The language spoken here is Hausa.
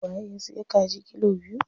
Waye ya siya kaji kilo biyu?